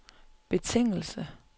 betingelse